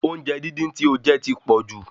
Oúnjẹ díndín tí ó jẹ ti pọ̀jù